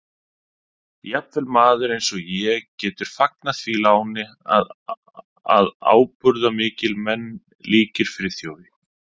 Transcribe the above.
Jafnvel maður eins og ég getur fagnað því láni að ábúðarmiklir menn líkir Friðþjófi